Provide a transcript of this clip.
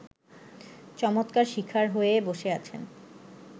চমৎকার শিকার হয়ে বসে আছেন